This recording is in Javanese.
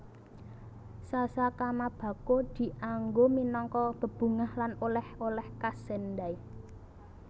Sasa kamabako dianggo minangka bebungah lan oleh oleh khas Sendai